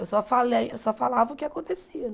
Eu só falei só falava o que acontecia.